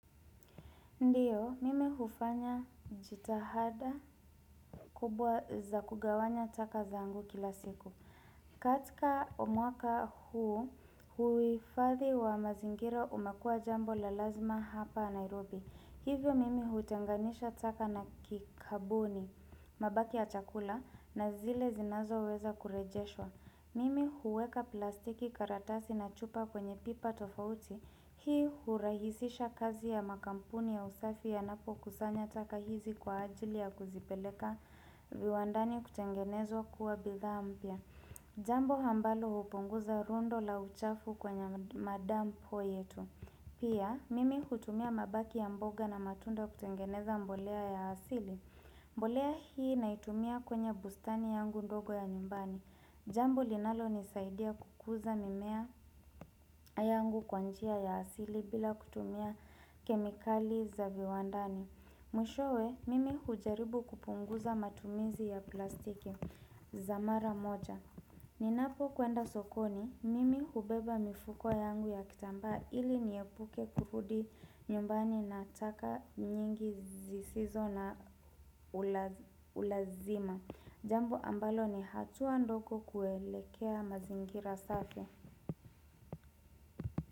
Ndiyo, mimi hufanya jitahada kubwa za kugawanya taka zangu kila siku. Katika omwaka huu, huifadhi wa mazingira umakua jambo la lazima hapa Nairobi. Hivyo mimi huchanganisha taka na kikabuni, mabaki ya chakula na zile zinazo weza kurejeshwa. Mimi huweka plastiki karatasi na chupa kwenye pipa tofauti. Hii hurahisisha kazi ya makampuni ya usafi yanapo kusanya taka hizi kwa ajili ya kuzipeleka viwandani kutengenezwa kuwa bidhaa mpya Jambo ambalo hupunguza rundo la uchafu kwenye madampo yetu Pia mimi hutumia mabaki ya mboga na matunda kutengeneza mbolea ya asili mbolea hii naitumia kwenye bustani yangu ndogo ya nyumbani Jambo linalo nisaidia kukuza mimea yangu kwa njia ya asili bila kutumia kemikali za viwandani. Mwishowe, mimi hujaribu kupunguza matumizi ya plastiki za mara moja. Ninapo kuenda sokoni, mimi hubeba mifuko yangu ya kitambaa ili niepuke kurudi nyumbani na taka nyingi zisizo na ulazima. Jambo ambalo ni hatua ndoko kuelekea mazingira safi.